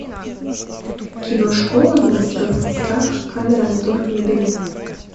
кино школа монстров страх камера мотор набери